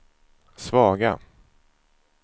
svaga